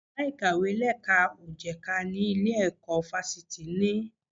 Yàrá ìkàwé lẹ́ka ò jẹ̀ka ni ilé ìwé fáfitì ní.